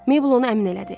Meybl onu əmin elədi.